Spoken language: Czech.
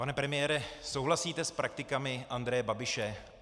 Pane premiére, souhlasíte s praktikami Andreje Babiše?